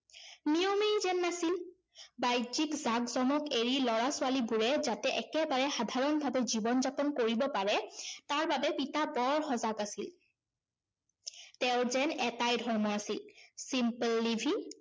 বাহ্যিক জাকজমক এৰি লৰা-ছোৱালীবোৰে যাতে একেবাৰে সাধাৰণভাৱে জীৱন-যাপন কৰিব পাৰে তাৰ বাবে পিতা বৰ সজাগ আছিল। তেওঁৰ যেন এটাই ধৰ্ম আছিল simple living